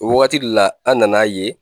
O wagati de la an nana a ye